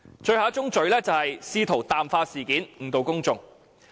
最後一宗罪是試圖淡化事件，誤導公眾。